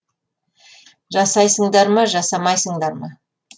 жасайсыңдар ма жасамайсыңдар ма